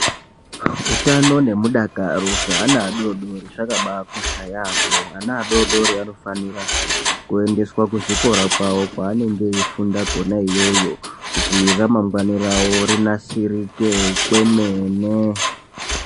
Utano nemudakaro zvaana adodori zvakambakosha yamho .Ana adodori vanofanira kuendeswa kuzvikora kwawo kwaanenge eifunda kwona iyoyo kuti ramangwani rawo rinasirike kwemene.